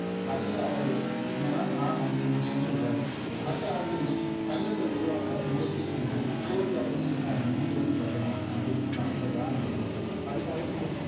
அதுக்கு அவரு ஏன்னா நான் அல்கெமிஸ்ட்னு சொல்றாரு மத்த அல்கெமிஸ்ட் தங்கத்தை உருவாக்க முயற்சி செஞ்சு தோல்வியடைஞ்சிருக்காங்கன்னு கேள்விபட்டேனே அது உண்மையான்னு கேட்கிறான் அந்த பையன் அதுக்கு அல்கெமிஸ்ட்